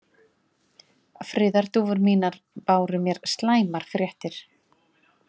Friðardúfur mínar báru mér slæmar fréttir.